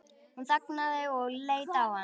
Hún þagnaði og leit á hann.